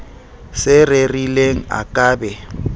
se rerileng a ka be